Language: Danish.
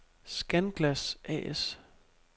Scanglas A/S